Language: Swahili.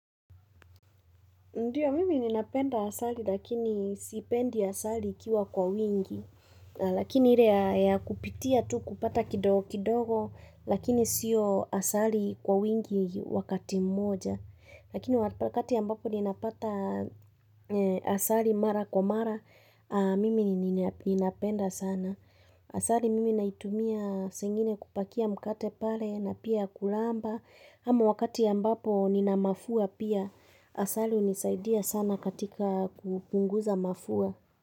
Ndiyo mimi ninapenda asali lakini sipendi asali ikiwa kwa wingi. Lakini ire ya ya kupitia tu kupata kidogo kidogo, lakini siyo asali kwa wingi wakati mmoja. Lakini waka kati ambapo ninapatha e asali mara kwa mara, a mimi nina ninapenda sana. Asali mimi naitumia sengine kupakia mkate pale na pia kulamba Amo wakati ambapo nina mafua pia, asali hunisaidia sana katika kupunguza mafua.